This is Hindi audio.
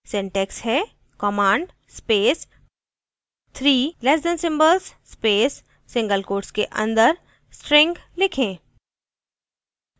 syntax हैः command space three less than symbols space single quotes के अंदर string लिखें